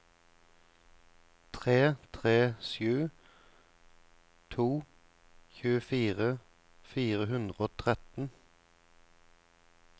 tre tre sju to tjuefire fire hundre og tretten